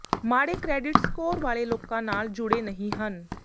ਮਾੜੇ credit score ਵਾਲੇ ਲੋਕਾਂ ਨਾਲ ਜੁੜੇ ਨਹੀਂ ਹਨ